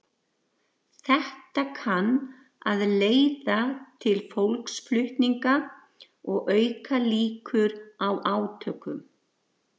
Þetta kann að leiða til fólksflutninga og auka líkur á átökum.